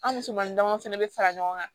An ni musomanin damadɔ fana bɛ fara ɲɔgɔn kan